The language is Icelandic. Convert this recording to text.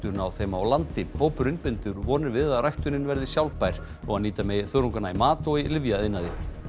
á þeim á landi hópurinn bindur vonir við að ræktunin verði sjálfbær og að nýta megi þörungana í mat og lyfjaiðnaði